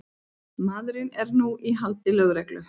Maðurinn er nú í haldi lögreglu